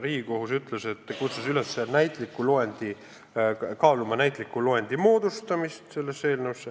Riigikohus kutsus üles kaaluma näitliku loendi moodustamist selles eelnõus.